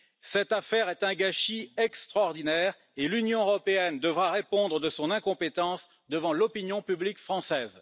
Cette affaire est un gâchis extraordinaire et l'Union européenne devra répondre de son incompétence devant l'opinion publique française.